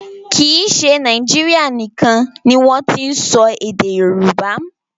Kì í ṣe Nàíjírìa nìkan ni wọ́n ti n sọ èdè Yorùbá.